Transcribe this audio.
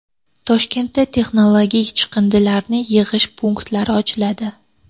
Toshkentda texnologik chiqindilarni yig‘ish punktlari ochiladi.